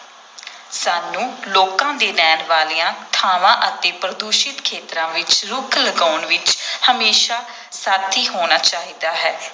ਸਾਨੂੰ ਲੋਕਾਂ ਦੇ ਰਹਿਣ ਵਾਲੀਆਂ ਥਾਵਾਂ ਅਤੇ ਪ੍ਰਦੂਸ਼ਿਤ ਖੇਤਰਾਂ ਵਿਚ ਰੁੱਖ ਲਗਾਉਣ ਵਿਚ ਹਮੇਸ਼ਾਂ ਸਾਥੀ ਹੋਣਾ ਚਾਹੀਦਾ ਹੈ।